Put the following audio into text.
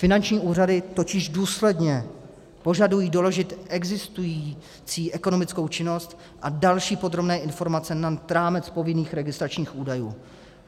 Finanční úřady totiž důsledně požadují doložit existující ekonomickou činnost a další podrobné informace nad rámec povinných registračních údajů.